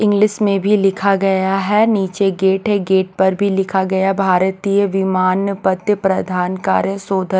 English में भी लिखा गया हैनीचे गेट है गेट पर भी लिखा गया भारतीय विमानपत्त प्रधान कार्य शोध--